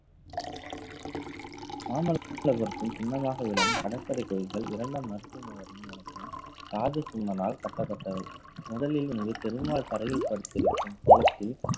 மாமல்லபுரத்தில் சின்னமாக விளங்கும் கடற்கரை கோயில்கள் இரண்டாம் நரசிம்ம வர்மன் எனப்படும் ராஜ சிம்மனால் கட்டப்பட்டவை முதலில் இது பெருமாள் தரையில் படுத்திருக்கும் கோலத்தில்